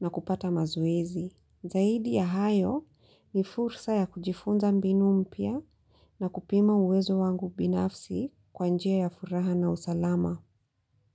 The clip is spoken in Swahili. na kupata mazoezi. Zaidi ya hayo ni fursa ya kujifunza mbinu mpya na kupima uwezo wangu binafsi kwa njia ya furaha na usalama.